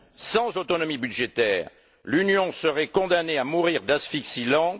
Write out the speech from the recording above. Sans autonomie budgétaire, l'Union serait condamnée à mourir d'asphyxie lente.